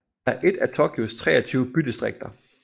er et af Tokyos 23 bydistrikter